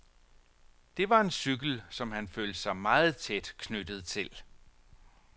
Det var en cykel, som han følte sig meget tæt knyttet til.